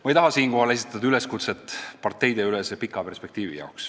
Ma ei taha siinkohal esitada üleskutset luua parteideülene pikk perspektiiv.